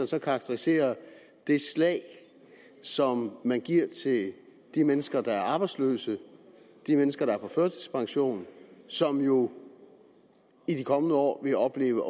så karakterisere det slag som man giver til de mennesker der er arbejdsløse og de mennesker der er på førtidspension som jo i de kommende år vil opleve